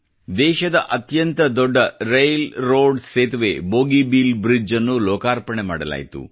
ದೇಶದ ಅತ್ಯಂತ ದೊಡ್ಡ ರೇಲ್ ರೋಡ್ ಸೇತುವೆ ಬೋಗಿಬೀಲ್ ಬ್ರಿಜ್ ನ್ನು ಲೋಕಾರ್ಪಣೆ ಮಾಡಲಾಯಿತು